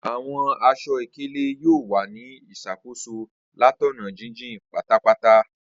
Awọn aṣọ-ikele yoo wa ni iṣakoso latọna jijin patapata.